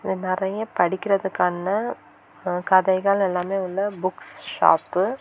இங்க நிறைய படிக்கிறதுக்கான கதைகள் எல்லாம் உள்ள புக்ஸ் ஷாப் .